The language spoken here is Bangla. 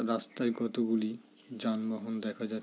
রাস্তায় কত গুলি যানবাহন দেখা যাচ্--